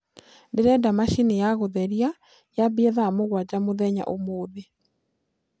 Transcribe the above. ndĩrenda machĩnĩ ya gutherĩa ya ambie thaa mũgwanja mũthenya ũmũthĩ